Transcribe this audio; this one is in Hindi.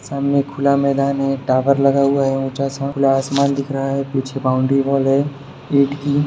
सामने खुला मैदान है टावर लगा हुआ है ऊंचा सा खुला आसमान दिख रहा है पीछे बाउंड्री वॉल है ईट की--